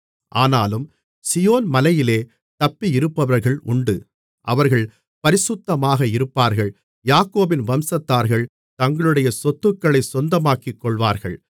ஆனாலும் சீயோன் மலையிலே தப்பியிருப்பவர்கள் உண்டு அவர்கள் பரிசுத்தமாக இருப்பார்கள் யாக்கோபின் வம்சத்தார்கள் தங்களுடைய சொத்துக்களைச் சொந்தமாக்கிக்கொள்வார்கள்